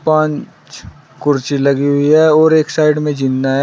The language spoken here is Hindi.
पांच कुर्सी लगी हुई है और एक साइड में जीना--